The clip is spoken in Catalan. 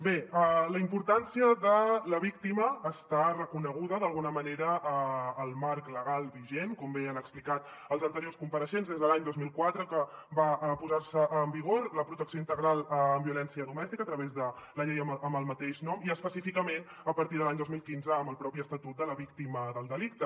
bé la importància de la víctima està reconeguda d’alguna manera al marc legal vigent com bé han explicat els anteriors compareixents des de l’any dos mil quatre que va posar se en vigor la protecció integral en violència domèstica a través de la llei amb el mateix nom i específicament a partir de l’any dos mil quinze amb el propi estatut de la víctima del delicte